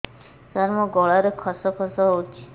ସାର ମୋ ଗଳାରେ ଖସ ଖସ ହଉଚି